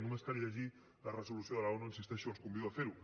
només cal llegir la resolució de la onu hi insisteixo i els convido a ferho